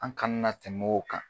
An kana na tɛmɛ o kan.